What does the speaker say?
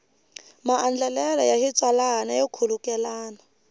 maandlalelo ya xitsalwana yo khulukelana